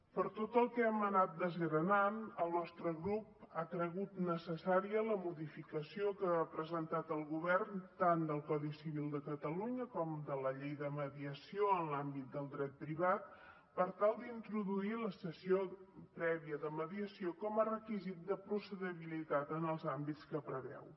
per tot el que hem anat desgranant el nostre grup ha cregut necessària la modificació que ha presentat el govern tant del codi civil de catalunya com de la llei de mediació en l’àmbit del dret privat per tal d’introduir la sessió prèvia de mediació com a requisit de procedibilitat en els àmbits que preveu